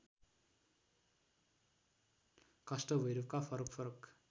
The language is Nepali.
काष्ठभैरवका फरक फरक